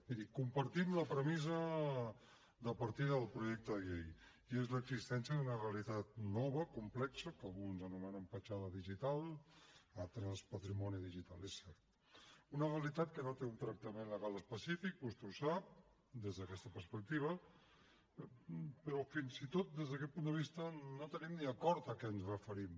miri compartim la premissa de partida del projecte de llei i és l’existència d’una realitat nova complexa que alguns anomenen petjada digital d’altres patrimoni digital és cert una realitat que no té un tractament legal específic vostè ho sap des d’aquesta perspectiva però fins i tot des d’aquest punt de vista no tenim ni acord sobre a què ens referim